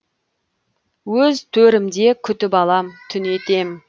өз төрімде күтіп алам түнетем